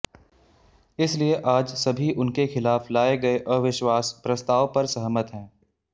इसलिए आज सभी उनके खिलाफ लाए गए अविश्वास प्रस्ताव पर सहमत हैं